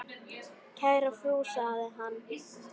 Kæra frú, sagði hann.